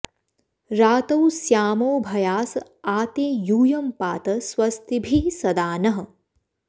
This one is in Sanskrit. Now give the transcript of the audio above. रातौ स्यामोभयास आ ते यूयं पात स्वस्तिभिः सदा नः